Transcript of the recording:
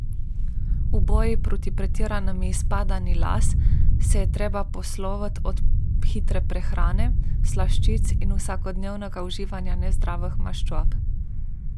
V boju proti pretiranemu izpadanju las se je treba posloviti od hitre prehrane, slaščic in vsakodnevnega uživanja nezdravih maščob.